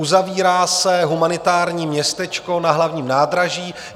Uzavírá se humanitární městečko na Hlavním nádraží.